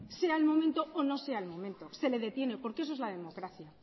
sea el momento o no sea el momento se le detiene porque eso es la democracia